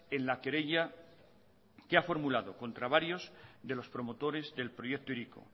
en la querella que ha formulado contra varios de los promotores del proyecto hiriko